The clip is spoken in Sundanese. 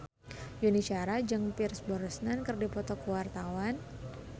Yuni Shara jeung Pierce Brosnan keur dipoto ku wartawan